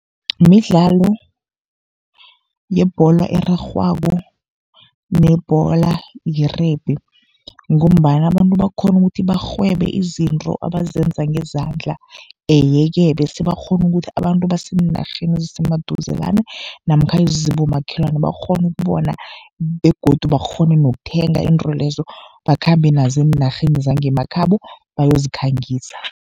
Midlalo yebholo erarhwako nebholo ye-rugby, ngombana abantu bakghona ukuthi barhwebe izinto abazenza ngezandla, ye-ke bese bakghone ukuthi abantu baseenarheni ezisemaduzelana namkha ezibomakhelwana bakghone ukubona, begodu bakghone nokuthenga izinto lezo, bakhambe nazo eenarheni zangemakhabo bayozikhangisa.